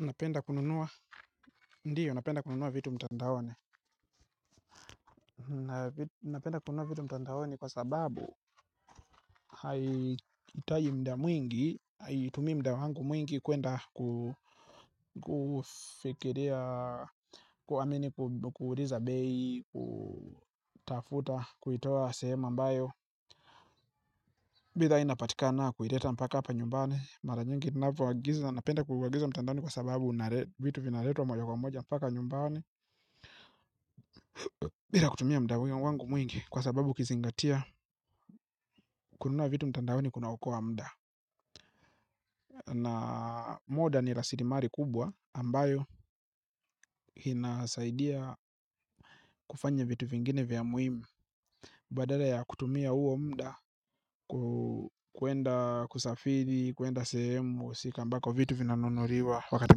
Unapenda kununua, ndio napenda kununua vitu mtandaoni napenda kununua vitu mtandaoni kwa sababu hitaji mda mwingi, haitumii mda wangu mwingi kwenda ku kufikiria. Kuamini kuuliza bei, kutafuta, kuitoa sehemu a mbayo bithaa inapatikana kuileta mpaka hapa nyumbani. Mara nyingi ninavoagiza, napenda kuagiza mtandaoni kwa sababu vitu vina letwa moja kwa moja mpaka nyumbani. Bila kutumia mda huyo wangu mwingi kwa sababu ukizingatia. Kununua vitu mtandaoni kunaokoa mda. Na muda ni rasilimali kubwa ambayo inasaidia kufanya vitu vingine vya muhimu. Badala ya kutumia huo mda ku kwenda kusafiri, kwenda sehemu husika ambako vitu vina nunuliwa wakati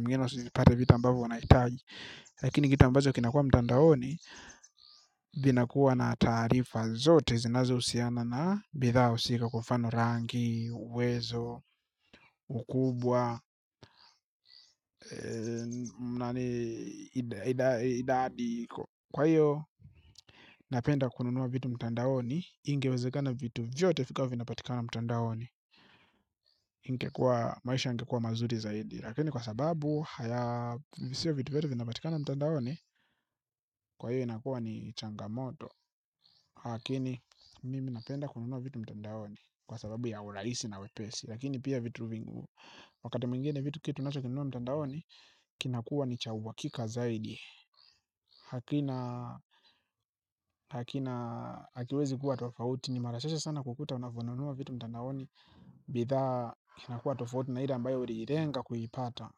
mwingine usizipate vitu ambavo unaitaji. Lakini kitu ambacho kinakuwa mtandaoni vinakuwa na taarifa zote zinazo husiana na bithaa husika kwa mfano rangi, uwezo, ukubwa, idadi kwa iyo napenda kununua vitu mtandaoni ingewezekana vitu vyote vikawa vina patikana mtandaoni maisha yangekuwa mazuri zaidi lakini kwa sababu haya siyo vitu vyote vina patikana mtandaoni kwa iyo inakuwa ni changamoto. Hakini mimi napenda kununua vitu mtandaoni. Kwa sababu ya urahisi na wepesi. Lakini pia vitu vingu wakati mwingine vitu kitu unacho kinunua mtandaoni. Kinakuwa ni cha uhakika zaidi. Hakina Hakina Hakiwezi kuwa tofauti. Ni mara chache sana kukuta unavyonunua vitu mtandaoni. Bithaa kinakuwa tofauti na ile ambayo uliirenga kuipata.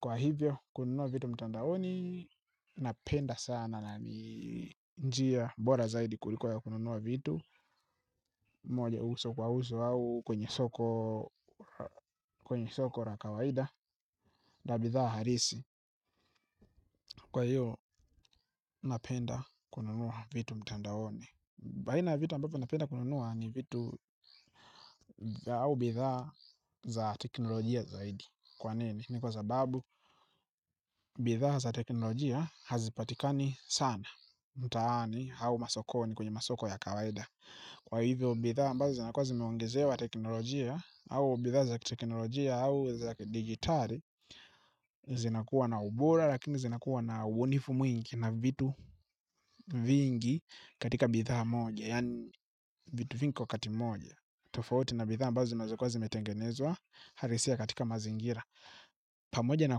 Kwa hivyo kununua vitu mtandaoni. Napenda sana. Njia bora zaidi kuliko ya kununua vitu moja uso kwa uso au kwenye soko kwenye soko la kawaida la bithaa halisi. Kwa hiyo napenda kununua vitu mtandaoni. Baina ya vitu ambavyo napenda kununua ni vitu au bithaa za teknolojia zaidi. Kwa nini? Ni kwa sababu bithaa za teknolojia hazipatikani sana. Mtaani au masokoni kwenye masoko ya kawaida. Kwa hivyo bithaa ambazo zinakuwa zimeongezewa teknolojia au bithaa za kiteknolojia au za digitari zinakuwa na ubora lakini zinakuwa na ubunifu mwingi na vitu vingi katika bithaa moja yaani vitu vingi kwa wakati mmoja tofauti na bithaa ambazo zinaweza kuwa zimetengenezwa halisia katika mazingira pamoja na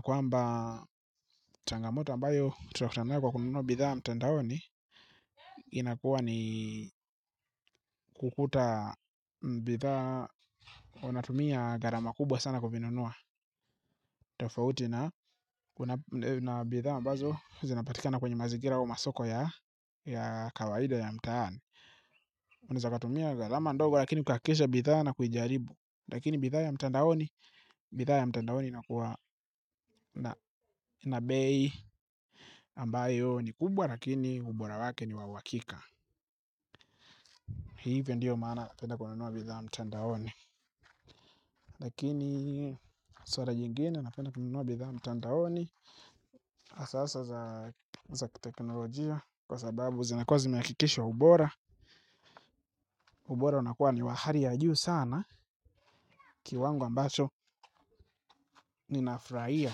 kwamba changamoto ambayo tunakutana nayo kwa kununua bithaa mtandaoni inakuwa ni kukuta bithaa unatumia gharama kubwa sana kuvinunua. Tofauti na bidhaa ambazo zinapatikana kwenye mazingira au masoko ya kawaida ya mtaani. Unaeza katumia gharama ndogo lakini ukahakisha bidhaa na kuijaribu. Lakini bidhaa ya mtandaoni bithaa ya mtandaoni inakuwa na inabei ambayo ni kubwa lakini ubora wake ni wa uhakika. Hivyo ndiyo maana napenda kununua bidhaa mtandaoni. Lakini swara jingine na penda kununua bidhaa mtandaoni hasa hasa za kiteknolojia kwa sababu zinakuwa zimehakikishwa ubora. Ubora unakuwa ni wa hali ya juu sana kiwango ambacho ninafurahia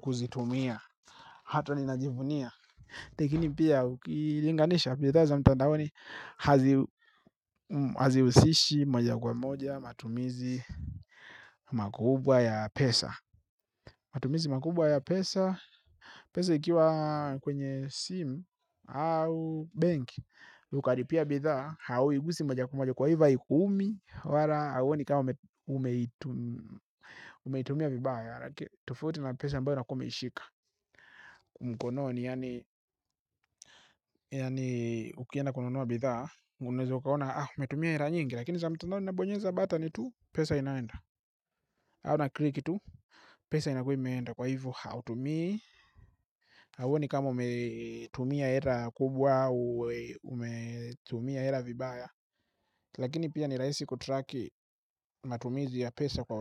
kuzitumia. Hata ninajivunia lakini pia ukilinganisha bithaa za mtandaoni haziusishi moja kwa moja matumizi makubwa ya pesa. Matumizi makubwa ya pesa pesa ikiwa kwenye simu au benki yukaripia bidhaa hauigusi moja kwa moja kwa hivyo haikuumi. Wala hauoni kama umeitumia vibaya. Tofauti na pesa ambayo unakuwa umeishika mkononi yaani yaani ukienda kununua bidhaa unaweza ukaona ah umetumia hera nyingi. Lakini za mtandaoni unabonyeza batoni tu pesa inaenda. Au nakriki tu pesa inakuwa imeenda kwa hivyo hautumii. Hauoni kama umetumia hera kubwa. Umetumia hera vibaya. Lakini pia nirahisi kutraki matumizi ya pesa kwa ura.